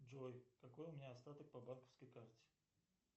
джой какой у меня остаток по банковской карте